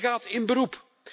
Zij gaat in beroep.